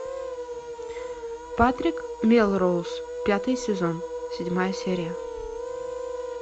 патрик мелроуз пятый сезон седьмая серия